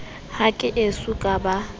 ha ke eso ka ba